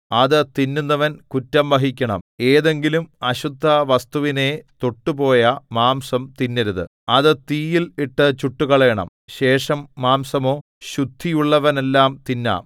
ഏതെങ്കിലും അശുദ്ധവസ്തുവിനെ തൊട്ടുപോയ മാംസം തിന്നരുത് അത് തീയിൽ ഇട്ടു ചുട്ടുകളയണം ശേഷം മാംസമോ ശുദ്ധിയുള്ളവനെല്ലാം തിന്നാം